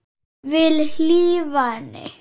Vil hlífa henni.